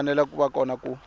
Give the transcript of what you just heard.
fanele ku va kona ku